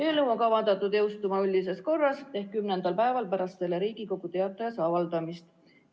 Eelnõu on kavandatud jõustuma üldises korras ehk kümnendal päeval pärast Riigi Teatajas avaldamist.